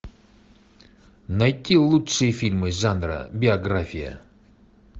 найти лучшие фильмы жанра биография